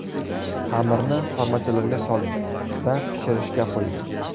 Xamirni formachalarga soling va pishirishga qo‘ying.